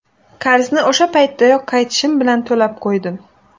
Qarzni o‘sha paytdayoq qaytishim bilan to‘lab qo‘ydim.